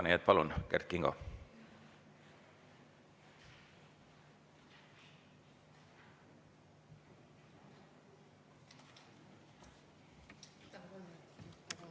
Nii et, palun, Kert Kingo!